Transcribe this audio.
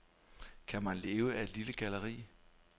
Kan man leve af et lille galleri?